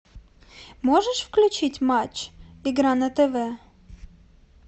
можешь включить матч игра на тв